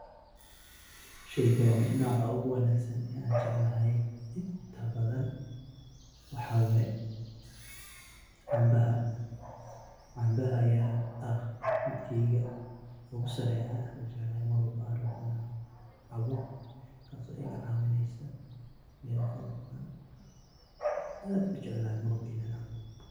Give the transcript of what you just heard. Sheeygani noco ugu wanagsan aa jeclahay intabathan waxaye cambaha Aya ah midkeyga aa aad u jeclahay Ina caboh taaso iga cabineysoh aad u jeclahay marwalbo Ina caboh.